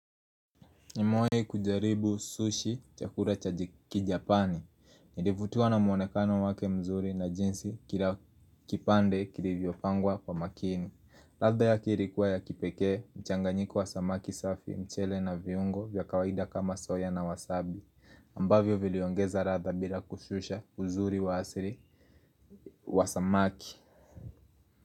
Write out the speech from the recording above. Nimewai kujaribu sushi chakula cha kijapani Nilivutiwa na muonekano wake mzuri na jinsi kila kipande kilivyo pangwa kwa makini ladha yake ilikuwa ya kipekee, mchanganyiko wa samaki safi, mchele na viungo vya kawaida kama soya na wasabi ambavyo viliongeza ladha bila kushusha uzuri wa asili wa samaki.